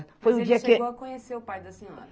Foi um dia que. Mas ele chegou a conhecer o pai da senhora?